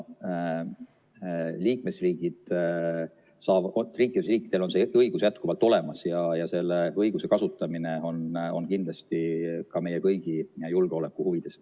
Liikmesriikidel on see õigus jätkuvalt olemas ja selle õiguse kasutamine on kindlasti ka meie kõigi julgeoleku huvides.